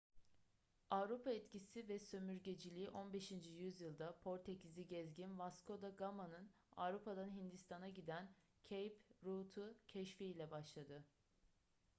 avrupa etkisi ve sömürgeciliği 15. yüzyılda portekizli gezgin vasco da gama'nın avrupa'dan hindistan'a giden cape route'u keşfi ile başladı